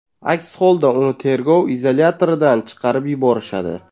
Aks holda uni tergov izolyatoridan chiqarib yuborishadi.